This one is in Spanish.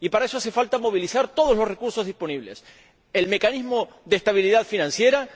Y para eso hace falta movilizar todos los recursos disponibles el mecanismo de estabilidad financiera,